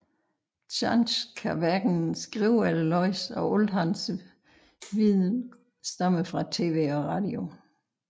Chance kan hverken skrive eller læse og alt hans viden stammer fra TV og Radio